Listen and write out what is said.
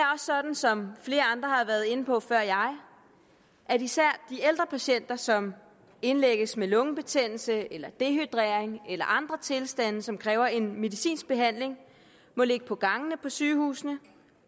sådan som flere andre har været inde på før jeg at især de ældre patienter som indlægges med lungebetændelse eller dehydrering eller andre tilstande og som kræver en medicinsk behandling må ligge på gangene på sygehusene